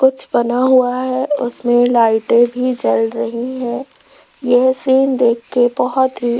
कुछ बना हुआ है उसमें लाइटे भी जल रही है यह सीन देख के बहोत ही --